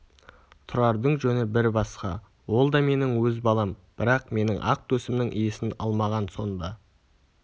тұрардың жөні бір басқа ол да менің өз балам бірақ менің ақ төсімнің иісін алмаған сонда